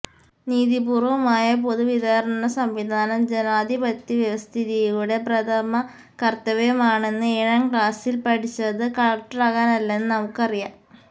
നീതി പൂര്വ്വമായ പൊതു വിതരണ സംവിധാനം ജനാധിപത്യ വ്യവസ്ഥിതിയുടെ പ്രഥമകര്ത്തവ്യമാണെന്ന് ഏഴാം ക്ലാസില് പഠിച്ചത് കളക്ടറാകാനല്ലെന്ന് നമുക്കറിയാം